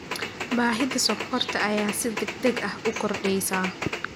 Baahida sonkorta ayaa si degdeg ah u kordheysa.